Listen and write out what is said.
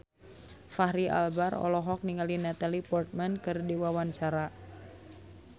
Fachri Albar olohok ningali Natalie Portman keur diwawancara